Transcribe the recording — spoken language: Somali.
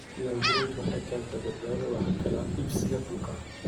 Diiwaangelintu waxay keentaa badbaadada wax kala iibsiga dhulka.